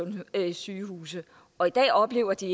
sygehuse og det oplever de